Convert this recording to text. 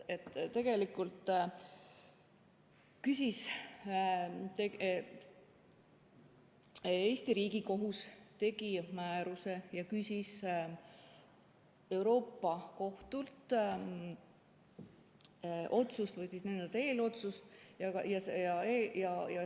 Eesti Riigikohus tegi määruse ja küsis Euroopa Liidu Kohtult eelotsust.